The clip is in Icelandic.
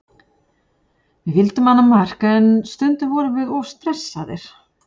Við vildum annað mark en stundum vorum við of stressaðir.